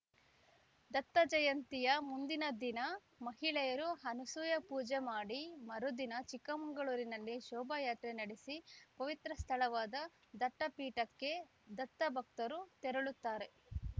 ದತ್ತಜಯಂತಿಯ ಮುಂದಿನ ದಿನ ಮಹಿಳೆಯರು ಅನಸೂಯ ಪೂಜೆ ಮಾಡಿ ಮರುದಿನ ಚಿಕ್ಕಮಗಳೂರುನಲ್ಲಿ ಶೋಭಾಯಾತ್ರೆ ನಡೆಸಿ ಪವಿತ್ರ ಸ್ಥಳವಾದ ದತ್ತಪೀಠಕ್ಕೆ ದತ್ತಭಕ್ತರು ತೆರಳುತ್ತಾರೆ